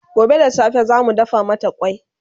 gobe da safe zamu dafa mata kwai